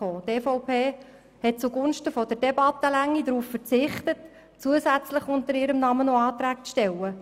Die EVP hat zugunsten der Debattenlänge darauf verzichtet, zusätzliche Anträge unter ihrem Namen einzureichen.